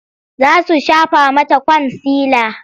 Za su shafa mata kwansila.